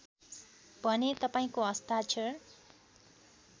भने तपाईँको हस्ताक्षर